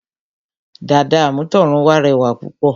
Dàda àmútọ̀runwá rẹwà púpọ̀